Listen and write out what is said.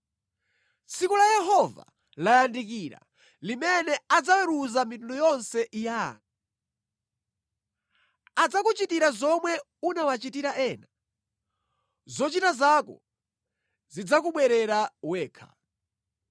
“Tsiku la Yehova layandikira limene adzaweruza mitundu yonse ya anthu. Adzakuchitira zomwe unawachitira ena; zochita zako zidzakubwerera wekha.